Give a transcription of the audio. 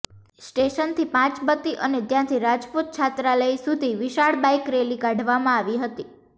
સ્ટેશનથી પાંચબત્તી અને ત્યાંથી રાજપૂત છાત્રાલય સુધી વિશાળ બાઈક રેલી કાઢવામાં આવી હતી